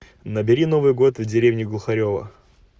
набери новый год в деревне глухарево